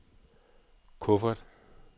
kuffert